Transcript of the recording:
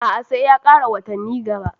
A a, sai ya ƙara watanni gaba